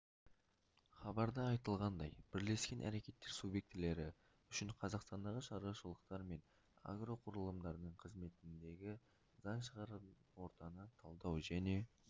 хабарда айтылғандай бірлескен әрекеттер субъектілері үшін қазақстандағы шаруашылықтар мен агроқұрылымдардың қызметіндегі заң шығаратын ортаны талдау және